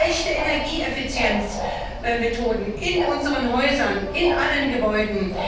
Wir brauchen echte Energieeffizienzmethoden in unseren Häusern, in allen Gebäuden.